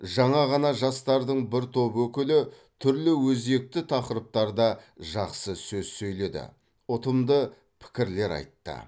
жаңа ғана жастардың бір топ өкілі түрлі өзекті тақырыптарда жақсы сөз сөйледі ұтымды пікірлер айтты